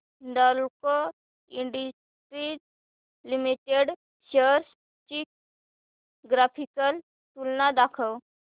Hindalco industries limited shares ची graphical तुलना दाखव